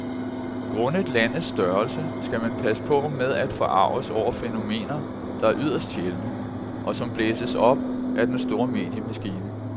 Grundet landets størrelse skal man passe på med at forarges over fænomener, der er yderst sjældne, og som blæses op af den store mediemaskine.